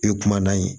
E kuma n'a ye